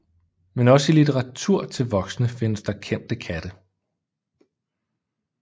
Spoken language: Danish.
Men også i litteratur til voksne findes der kendte katte